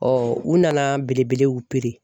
u nana belebelew